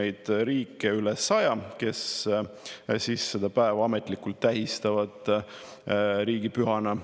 neid riike üle 100, kes seda päeva ametlikult tähistavad riigipühana.